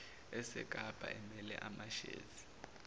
esekapa emele amashezi